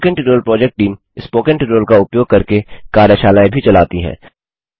spoken tutorial project team spoken tutorial का उपयोग करके कार्यशालाएँ भी चलाती है